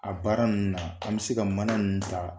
A baara ninnu na an bɛ se ka mana ninnu ta.